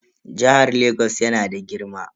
Jihar Lagos yana da girma.